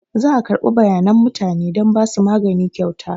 Za a karɓi bayanan mutane don ba su magani kyauta.